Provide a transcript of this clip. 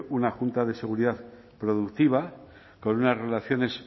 una junta de seguridad productiva con unas relaciones